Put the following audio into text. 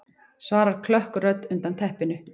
svaraði klökk rödd undan teppinu.